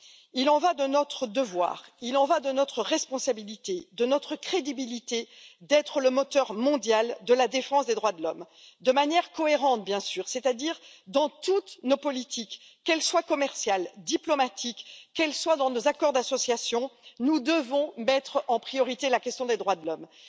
Il y va de notre devoir, il y va de notre responsabilité, de notre crédibilité, d'être le moteur mondial de la défense des droits de l'homme, de manière cohérente, bien sûr, c'est à dire dans toutes nos politiques qu'elles soient commerciales, diplomatiques, qu'elles soient dans nos accords d'association, nous devons mettre en priorité la question des droits de l'homme.